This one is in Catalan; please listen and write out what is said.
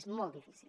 és molt difícil